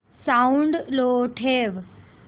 sound लो ठेव